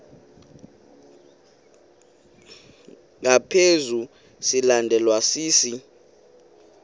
ngaphezu silandelwa sisi